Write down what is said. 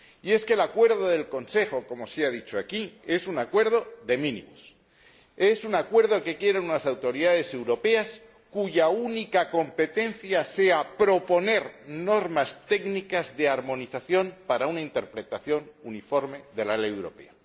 Es que el acuerdo del Consejo, como se ha dicho aquí, es un acuerdo de mínimos, es un acuerdo que quieren unas autoridades europeas cuya única competencia sea proponer normas técnicas de armonización para una interpretación uniforme de la Ley europea.